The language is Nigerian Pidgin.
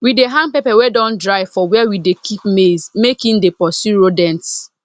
we dey hang pepper wey don dry for where we dey keep maize make e dey pursue rodents